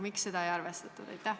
Miks seda ei arvestatud?